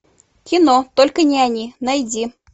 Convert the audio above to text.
кино только не они найди